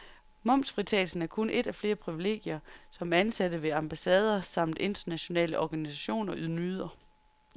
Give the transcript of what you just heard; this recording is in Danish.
Momsfritagelsen er kun et af flere privilegier, som ansatte ved ambassader samt internationale organisationer nyder.